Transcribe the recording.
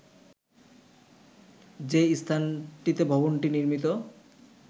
যে স্থানটিতে ভবনটি নির্মিত